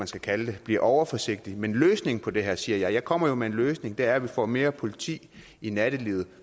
skal kalde det bliver overforsigtig men løsningen på det her siger jeg jeg kommer jo med en løsning er at vi får mere politi i nattelivet